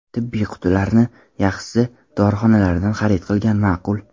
Tibbiy qutilarni, yaxshisi, dorixonalardan xarid qilgan ma’qul.